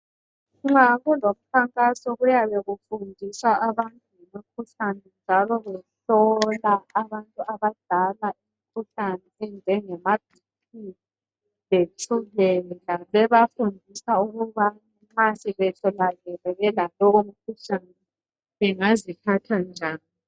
Nxa kulomkhankaso kuyabe kufundiswa abantu ngomkhuhlane njalo behlola abantu abadala imikhuhlane enjengamaBP letshukela. Bebafundisa ukuba nxa sebetholakele belalowo mkhuhlane bengaziphatha njani.